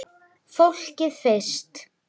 Fólkið fyrst!